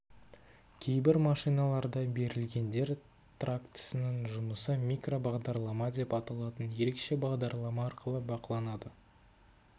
кейбір машиналарда берілгендер трактісінің жұмысы микробағдарлама деп аталатын ерекше бағдарлама арқылы бақыланады